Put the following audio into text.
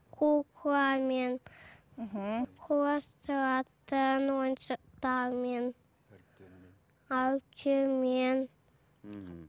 кукламен мхм құрастыратын ойыншықтармен әріптермен әріптермен мхм